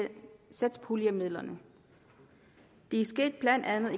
satspuljemidlerne det er blandt andet